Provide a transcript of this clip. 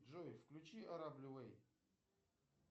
джой включи ара блю вэй